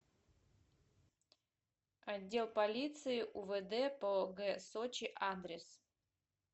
отдел полиции увд по г сочи адрес